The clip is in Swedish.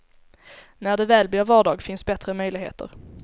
När det väl blir vardag finns bättre möjligheter.